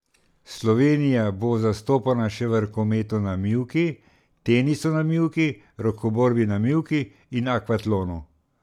Slovenija bo zastopana še v rokometu na mivki, tenisu na mivki, rokoborbi na mivki in akvatlonu.